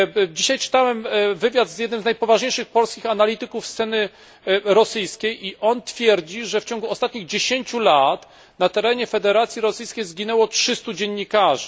Dzisiaj czytałem wywiad z jednym z najpoważniejszych polskich analityków sceny rosyjskiej i on twierdzi, że w ciągu ostatnich 10 lat na terenie Federacji Rosyjskiej zginęło 300 dziennikarzy.